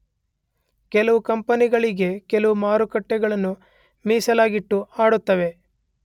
ಕೆಲವು ಕಂಪೆನಿಗಳಿಗೆ ಕೆಲವು ಮಾರುಕಟ್ಟೆಗಳನ್ನು ಮೀಸಲಾಗಿಟ್ಟು ಆಡುತ್ತವೆ